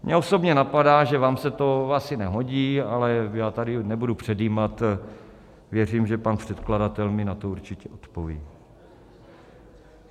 Mě osobně napadá, že vám se to asi nehodí, ale já tady nebudu předjímat, věřím, že pan předkladatel mi na to určitě odpoví.